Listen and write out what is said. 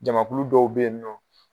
Jamakulu dɔw be yen nɔ